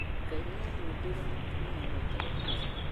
Ngai nĩamũmbĩire mũtumia wetagwo Hawa